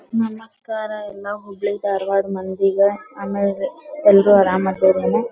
ನಮಸ್ಕಾರ ಎಲ್ಲ ಹುಬ್ಬಳಿ ಧಾರವಾಡ ಮಂದಿಗ. ಆಮೇಲೆ ಎಲ್ಲರು ಆರಾಮ ಅದೀರೇನ .